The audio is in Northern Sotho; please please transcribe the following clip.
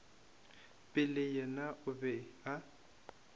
pele yena o be a